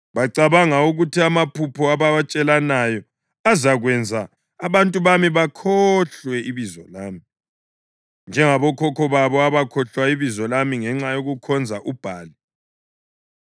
Bacabanga ukuthi amaphupho abawatshelanayo azakwenza abantu bami bakhohlwe ibizo lami, njengabokhokho babo abakhohlwa ibizo lami ngenxa yokukhonza uBhali.